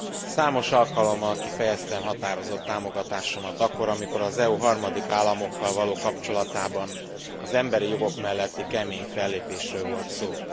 Számos alkalommal kifejeztem határozott támogatásomat akkor, amikor az EU harmadik államokkal való kapcsolatában az emberi jogok melletti kemény fellépésről volt szó.